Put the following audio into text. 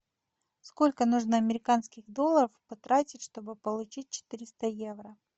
сколько нужно американских долларов потратить чтобы получить четыреста евро